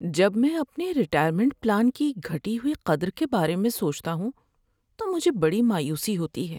جب میں اپنے ریٹائرمنٹ پلان کی گھٹی ہوئی قدر کے بارے میں سوچتا ہوں تو مجھے بڑی مایوسی ہوتی ہے۔